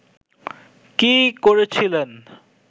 কী করেছিলেন